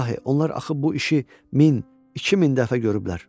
İlahi, onlar axı bu işi min, iki min dəfə görüblər.